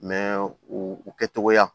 u u kɛ togoya